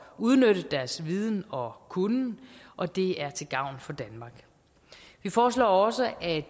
udnytte deres viden og kunnen og det er til gavn for danmark vi foreslår også at